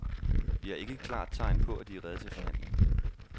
Vi har ikke et klart tegn på, at de er rede til forhandling.